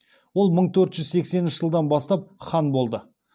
ол мың төр жүз сексенінші жылдан бастап хан болды